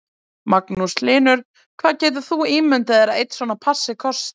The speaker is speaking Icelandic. Magnús Hlynur: Hvað getur þú ímyndað þér að einn svona passi kosti?